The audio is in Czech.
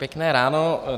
Pěkné ráno.